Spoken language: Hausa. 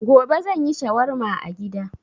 Gobe zan yi shawarma a gida.